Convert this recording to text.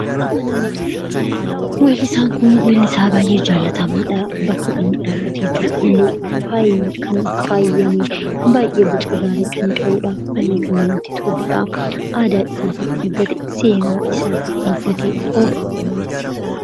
Weellisaan kun weellisaa baay'ee jaalatamaadha. Bakka inni dhaabbate jiru illee kan faayyamee baay'ee boca gaarii kan qabuudha, baayyee kan namatti toluudha, aadaa isaa kan eeggate, seenaa isaa kan eeggatedha.